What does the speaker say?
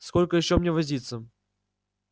сколько ещё мне возиться